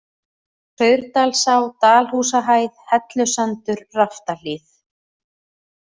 Saurdalsá, Dalhúsahæð, Hellusandur, Raftahlíð